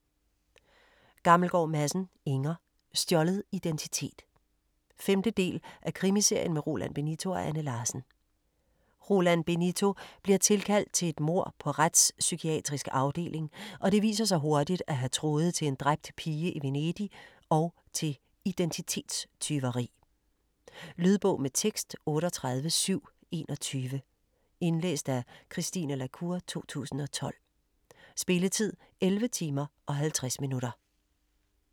Gammelgaard Madsen, Inger: Stjålet identitet 5. del af Krimiserien med Roland Benito og Anne Larsen. Roland Benito bliver tilkaldt til et mord på Retspsykiatrisk Afdeling, og det viser sig hurtigt at have tråde til en dræbt pige i Venedig og til identitetstyveri. Lydbog med tekst 38721 Indlæst af Christine la Cour, 2012. Spilletid: 11 timer, 50 minutter.